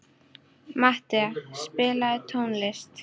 Matthea, spilaðu tónlist.